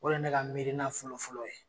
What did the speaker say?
O de ne ka miiriina fɔlɔ fɔlɔ ye.